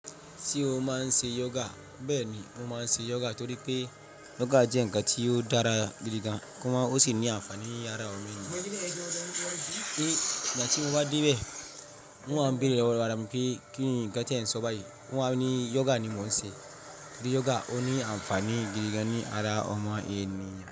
Ṣé o máa ń ṣe yoga? Bẹ́ẹ̀ ni, mo máa ń ṣe yoga torí pé yoga jẹ́ ǹkan tí ó dára gidi gan, kí wọ́n sì ní ànfàní yára ọmọnìyàn. Igba ti mo ba dem ti wá dé bẹ́ẹ̀. Mo wa n beere lowo ara mi pe "kinni nkan ti e n so bayii?" won wà ní yoga ni mò ń ṣe. Torí yoga ó ní ànfàní gidi gan-an ní ara ọmọ ènìyàn.